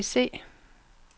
bese